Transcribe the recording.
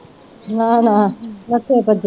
ਨਾ ਨਾ ਪੱਖੇ ਥੱਲੇ